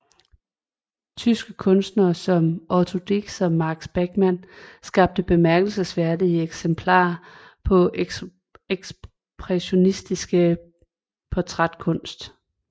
Tyske kunstnere som Otto Dix og Max Beckmann skabte bemærkelsesværdige eksempler på ekspressionistisk portrætkunst